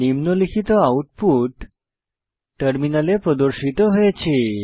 নিম্নলিখিত আউটপুট টার্মিনালে প্রদর্শিত হয়েছে